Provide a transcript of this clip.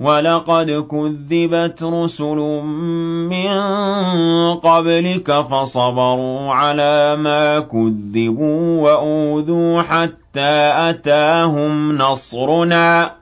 وَلَقَدْ كُذِّبَتْ رُسُلٌ مِّن قَبْلِكَ فَصَبَرُوا عَلَىٰ مَا كُذِّبُوا وَأُوذُوا حَتَّىٰ أَتَاهُمْ نَصْرُنَا ۚ